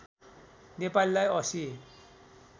नेपालीलाई ८०